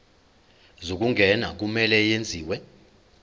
zokungena kumele kwenziwe